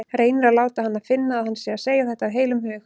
Reynir að láta hana finna að hann sé að segja þetta af heilum hug.